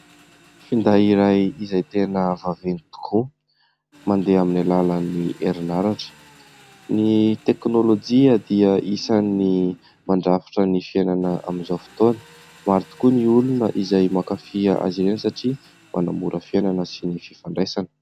Finday iray izay tena vaventy tokoa, mandeha amin'ny alalan'ny herinaratra. Ny teknôlôjia dia isan'ny mandrafitra ny fiainana amin'izao fotoana. Maro tokoa ny olona izay mankafy azy ireny satria manamora fiainana sy ny fifandraisana.